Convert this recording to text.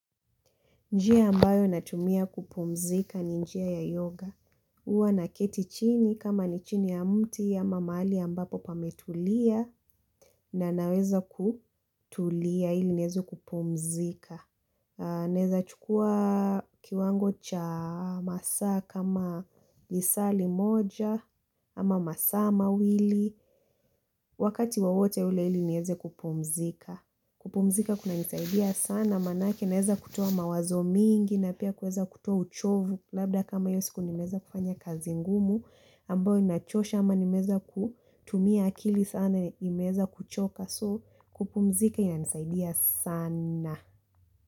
Njia ambayo natumia kupumzika ni njia ya yoga, huwa na keti chini kama ni chini ya mti ya mahali ya ambapo pametulia na naweza kutulia ili niweze kupumzika Naweza chukua kiwango cha masaa kama lisali moja ama masaa mawili Wakati wowote ule ili niweze kupumzika kupumzika kunanisaidia sana maanake naweza kutoa mawazo mingi na pia kuweza kutoa uchovu labda kama hiyo siku nimeweza kufanya kazi ngumu ambayo inachosha ama nimeweza kutumia akili sana nimeweza kuchoka kupumzika inanisaidia sana.